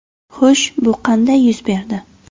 Xo‘sh, bu qanday yuz berdi?